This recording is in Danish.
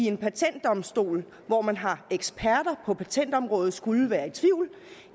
en patentdomstol hvor man har eksperter på patentområdet skulle være